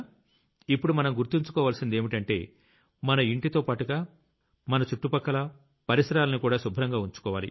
ఇప్పుడు మనం గుర్తుంచుకోవాల్సిందేంటంటే మన ఇంటితోపాటుగా మన చుట్టుపక్కల పరిసరాల్నికూడా శుభ్రంగా ఉంచుకోవాలి